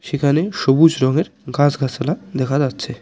এখানে সবুজ রঙের গাছগাছালা দেখা যাচ্ছে।